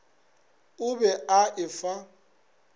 o be a e fa